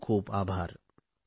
खूपखूप आभार